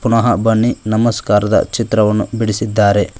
ಮಹಾ ಬನ್ನಿ ನಮಸ್ಕಾರದ ಚಿತ್ರವನ್ನು ಬಿಡಿಸಿದ್ದಾರೆ.